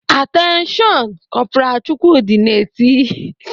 "Atenshion nnnn!" Kọpral Chukwudi na-eti.